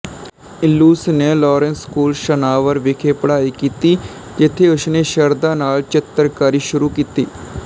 ਇਲੂਸ਼ ਨੇ Lawrence school Sanawar ਵਿਖੇ ਪੜ੍ਹਾਈ ਕੀਤੀ ਜਿੱਥੇ ਉਸਨੇ ਸ਼ਰਧਾ ਨਾਲ ਚਿਤਰਕਾਰੀ ਸ਼ੁਰੂ ਕੀਤੀ